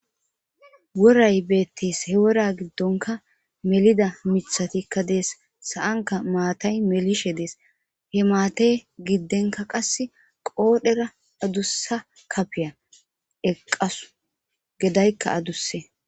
Worayi beetes. He wora giddonkka melida mithatikka de'eesi. Sa'nkka maatayi melishe deesi. He maata ginkka qasse qoodhera adduse.